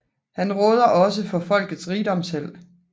Han råder også for Folks Rigdomsheld